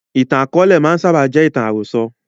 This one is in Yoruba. Ìtàn akọ̀ọ̀lẹ máa ń sábà jẹ́ ìtàn àròsọ̀